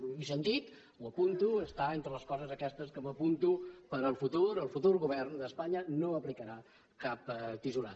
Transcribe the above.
ho he sentit ho apunto està entre les coses aquestes que m’apunto per al futur el futur govern d’espanya no aplicarà cap tisorada